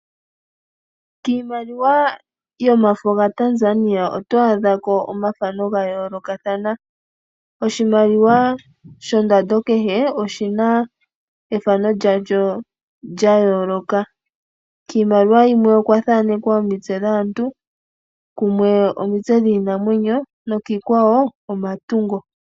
Kiimaliwa yomafo gaTanzania oyo adha ko omathano ga yoolokathana. Oshimaliwa shondando kehe oshi na ethano lyasho lya yooloka. Kiimaliwa yimwe okwa thanekwa omitse dhaantu, kumwe omitse dhiinamwenyo nokiikwawo omatungo.